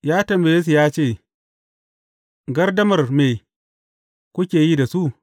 Ya tambaye su ya ce, Gardamar me kuke yi da su?